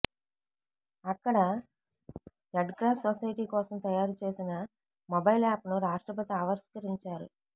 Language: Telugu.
అక్కడ రెడ్క్రాస్ సొసైటీ కోసం తయారు చేసిన మొబైల్ యాప్ను రాష్ట్రపతి ఆవిష్కరించారు